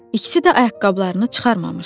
İkisi də ayaqqabılarını çıxarmamışdı.